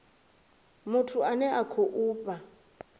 muthu ane a khou fha